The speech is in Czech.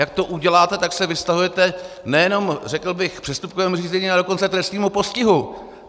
Jak to uděláte, tak se vystavujete nejenom řekl bych přestupkovému řízení, ale dokonce trestnímu postihu!